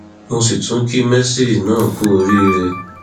mo sì tún kí mercy náà kú oríire